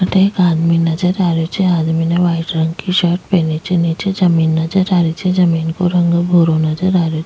अठे एक आदमी नजर आ रहियो छे आदमी ने व्हाइट रंग की शर्ट पहनी छे नीचे जमीन नजर आ रही छे जमीन को रंग भूरो नजर आ रहियो --